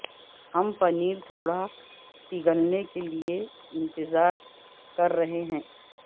ہم پنیر تھوڑا سا پگھلنے کے لئے انتظار کر رہے ہیں